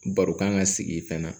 Baro kan ka sigi fɛn na